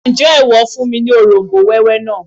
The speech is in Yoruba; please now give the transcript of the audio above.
Ǹjẹ́ ìwọ fún mi ní òróm̀bó wẹ́wẹ́ náà?